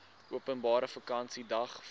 openbare vakansiedag val